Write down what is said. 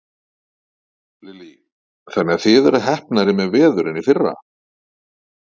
Lillý: Þannig að þið eruð heppnari með veður en í fyrra?